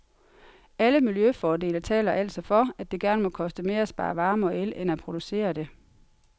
Alle miljøfordele taler altså for, at det gerne må koste mere at spare varme og el end at producere det.